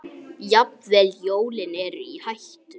Jafnvel jólin eru í hættu.